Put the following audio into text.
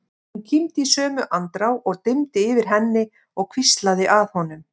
Hún kímdi í sömu andrá og dimmdi yfir henni og hvíslaði að honum